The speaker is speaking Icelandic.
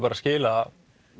skila